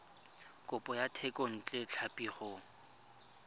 kopo ya thekontle tlhapi go